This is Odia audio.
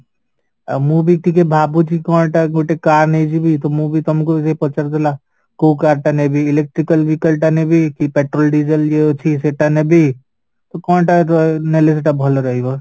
ଆଉ ମୁଁ ବି ଟିକେ ଭାବୁଛି କଣ ତା ଗୋଟେ car ନେଇଯିବି ତ ମୁଁ ବି ତମକୁ ପଚାରୁଥିଲା କୋଉ car ଟା ନେବି electrical vehicle ଟା ନେବି କି petrol, diesel ଇଏ ଅଛି ସେଟା ନେବି ତ କଣ ଟା ନେଲେ ସେଇଟା ଭଲ ରହିବ